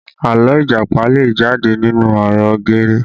Àlọ́ Ìjàpá jẹ jáde nínú ọ̀rọ̀ geere